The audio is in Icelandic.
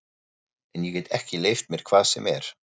En ég get ekki leyft mér hvað sem er!